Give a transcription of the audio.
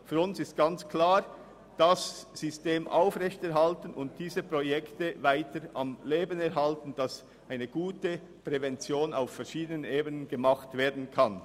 Für uns ist ganz klar, dass wir dieses System aufrechterhalten und diese Projekte weiterhin am Leben erhalten müssen, damit auf verschiedenen Ebenen eine gute Prävention gemacht werden kann.